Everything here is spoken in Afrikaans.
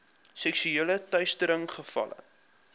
seksuele teistering gevalle